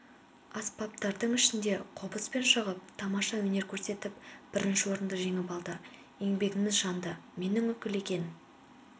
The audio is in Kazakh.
аспаптардың ішінде қобызбен шығып тамаша өнер көрсетіп бірінші орынды жеңіп алды еңбегіміз жанды менің үкілеген